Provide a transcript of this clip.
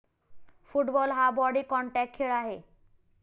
Football हा body contact खेळ आहे.